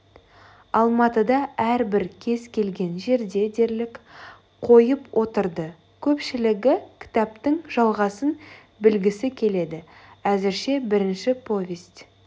алматыда әрбір кез келген жерде дерлік қойып отырды көпшілігі кітаптың жалғасын білгісі келеді әзірше бірінші повесть